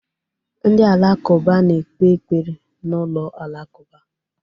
Ndị Alakụba na-ekpe ekpere na ụlọ alakụba.